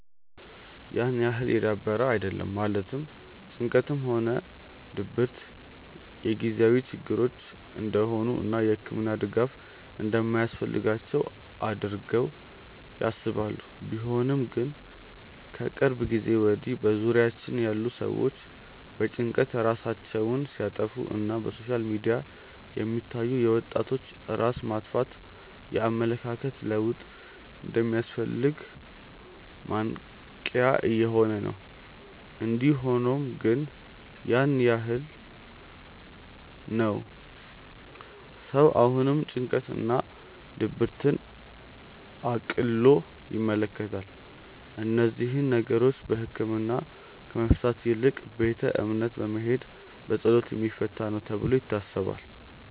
ያን ያህል የዳበረ አይደለም ማለትም ጭንቀትም ሆነ ድብረት የጊዜያዊ ችግሮች እንደሆኑ እና የህክምና ድጋፍ እንደማያስፈልጋቸው አድርገው ያስባሉ። ቢሆንም ግን ከቅርብ ጊዜ ወድያ በዙሪያችን ያሉ ሰዎች በጭንቀት ራሳቸውን ሲያጠፋ እና በሶሻል ሚዲያ የሚታዩ የወጣቶች ራስ ማጥፋት የኣመለካከት ለውጥ እንደሚያስፈልግ ማንቅያ እየሆነ ነው። እንዲ ሆኖም ግን ያን ያህል ነው ሰው አሁንም ጭንቀት እና ድብርትን እቅሎ ይመለከታል። እነዚህን ነገሮች በህክምና ከመፍታት ይልቅ ቤተ እምነት በመሄድ በፀሎት የሚፈታ ነው ተብሎ ይታሰባል።